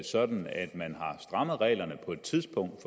sådan at man har strammet reglerne på et tidspunkt